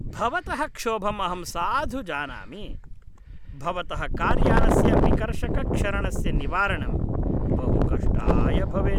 भवतः क्षोभम् अहं साधु जानामि, भवतः कार्यानस्य विकर्षकक्षरणस्य निवारणं बहु कष्टाय भवेत्।